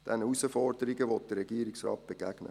Diesen Herausforderungen will der Regierungsrat begegnen.